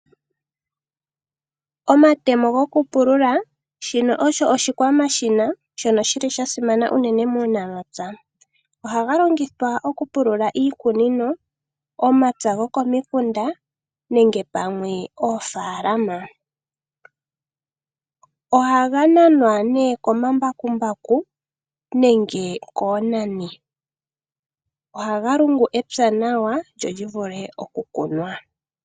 Omatemo gokupulula shino osho oshikwamashina shoka shili sha simana uunene muunamapya. Ohaga longithwa okupulula iikunino, omapya gokomikunda nenge pamwe ofaalama. Ohaga nanwa ne komambakumbaku nenge koonani. Ohaga lungu evi nawa lyo livule oku kunwa.